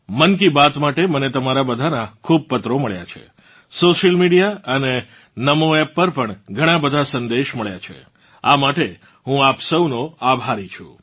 મન કી બાત માટે મને તમારા બધાના ખૂબ પત્રો મળ્યા છે સોશિયલ મીડિયા અને NaMoAppપર પણ ઘણાં બધાં સંદેશ મળ્યા છે આ માટે હું આપ સૌનૌ આભારી છું